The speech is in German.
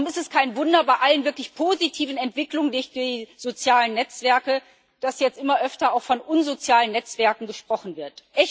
Darum ist es kein Wunder bei allen wirklich positiven Entwicklungen durch die sozialen Netzwerke, dass jetzt immer öfter auch von unsozialen Netzwerken gesprochen wird.